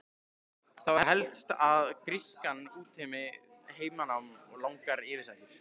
Það var helst að grískan útheimti heimanám og langar yfirsetur.